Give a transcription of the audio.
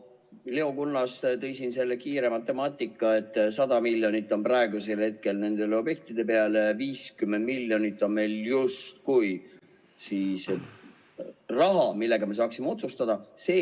Leo Kunnas tõi siin selle kiire matemaatika, et 100 miljonit on praegusel hetkel nende objektide peale, 50 miljonit on meil justkui siis raha, mille üle me saaksime otsustada.